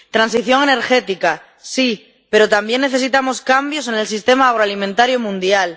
Transición energética, sí, pero también necesitamos cambios en el sistema agroalimentario mundial.